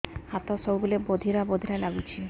ହାତ ସବୁବେଳେ ବଧିରା ବଧିରା ଲାଗୁଚି